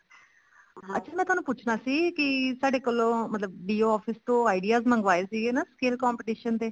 ਅੱਛਾ ਮੈਂ ਤੁਹਾਨੂੰ ਪੁੱਛਣਾ ਸੀ ਸਾਡੇ ਕੋਲੋਂ ਮਤਲਬ DO office ਤੋਂ ideas ਮੰਗਵਾਏ ਸੀ ਨਾ skill competition ਦੇ